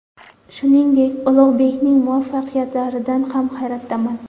Shuningdek, Ulug‘bekning muvaffaqiyatlaridan ham hayratdaman.